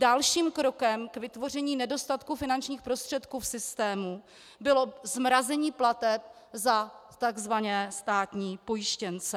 Dalším krokem k vytvoření nedostatku finančních prostředků v systému bylo zmrazení plateb za tzv. státní pojištěnce.